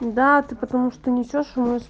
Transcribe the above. да ты потому что несёшь